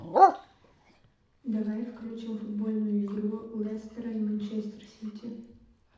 давай включим футбольную игру лестера и манчестер сити